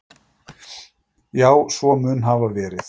Já, svo mun hafa verið.